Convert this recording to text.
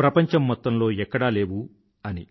ప్రపంచం మొత్తంలో ఎక్కడా లేవు అని